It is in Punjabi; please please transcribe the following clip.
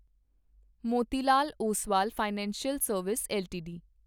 Motilal Oswal financial service LTD